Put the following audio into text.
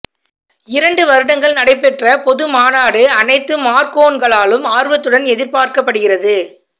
இரண்டு வருடங்கள் நடைபெற்ற பொது மாநாடு அனைத்து மார்கோன்களாலும் ஆர்வத்துடன் எதிர்பார்க்கப்படுகிறது